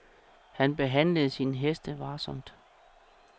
Han behandlede sine heste varsomt.